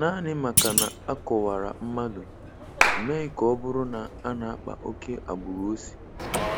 Naanị maka na a kọwara mmadụ, emeghị ka ọ bụrụ na a na-akpa oke agbụrụ o si